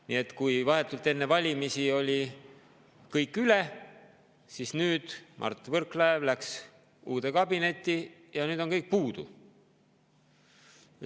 Nii et kui vahetult enne valimisi oli kõik üle, siis nüüd läks Mart Võrklaev uude kabinetti ja nüüd on kõik puudu.